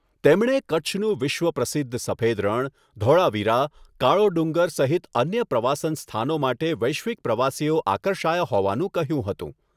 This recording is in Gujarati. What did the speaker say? તેમણે કચ્છનું વિશ્વ પ્રસિદ્ધ સફેદ રણ, ધોળાવીરા, કાળો ડુંગર સહિત અન્ય પ્રવાસન સ્થાનો માટે વૈશ્વિક પ્રવાસીઓ આકર્ષાયા હોવાનું કહ્યું હતું.